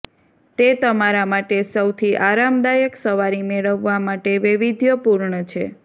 તે તમારા માટે સૌથી આરામદાયક સવારી મેળવવા માટે પણ વૈવિધ્યપૂર્ણ છે